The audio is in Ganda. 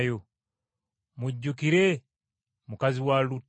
Mujjukire mukazi wa Lutti!